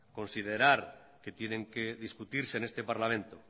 considerar que tienen que discutirse en este parlamento